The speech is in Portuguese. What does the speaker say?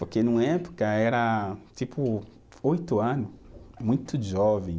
Porque numa época era tipo oito anos, muito jovem.